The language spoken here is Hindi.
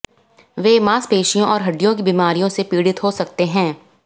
वे मांसपेशियों और हड्डियों की बीमारियों से पीड़ित हो सकते हैं